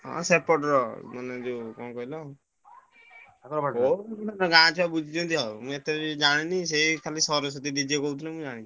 ହଁ ସେପଟର ଆମର ଯୋଉ କଣ କହିଲ ଗାଁ ଛୁଆ ବୁଝିଛନ୍ତି ଆଉ ମୁଁ ଏତେବି ଜାଣିନି ସେଇ ଖାଲି ସରସ୍ବତୀ DJ କହୁଥିଲେ ମୁଁ ଜାଣିଛି।